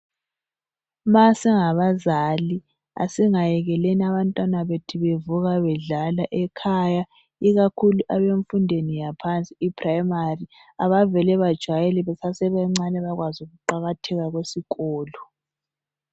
Masingabazali asingayekeleni abantwana bethu bevuka bedlala ekhaya ikakhulu abemfundweni yaphansi iphuremari. Abavele bajwayele besasebancane ukuqakatheka kwesikolo.